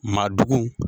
Maadugu